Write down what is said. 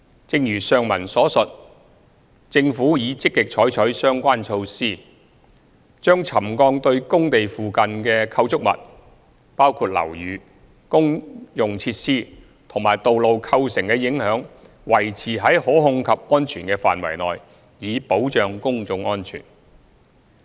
正如上文所述，政府已積極採取相關措施，把沉降對工地附近構築物，包括樓宇、公用設施及道路構成的影響維持在可控制及安全的範圍內，以保障公眾安全。